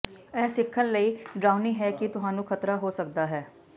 ਇਹ ਸਿੱਖਣ ਲਈ ਡਰਾਉਣੀ ਹੈ ਕਿ ਤੁਹਾਨੂੰ ਖਤਰਾ ਹੋ ਸਕਦਾ ਹੈ